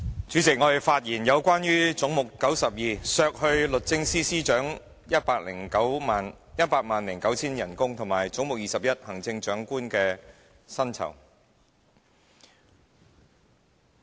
主席，我就總目92關於削減律政司司長 1,009,000 元薪酬的修正案，以及總目21關於行政長官薪酬的修正案發言。